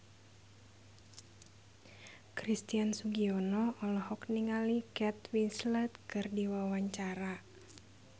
Christian Sugiono olohok ningali Kate Winslet keur diwawancara